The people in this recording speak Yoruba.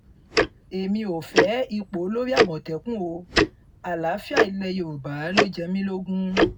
èmi ò fẹ́ ipò olórí àmọ̀tẹ́kùn o àlàáfíà ilẹ̀ yorùbá ló jẹ mí lógún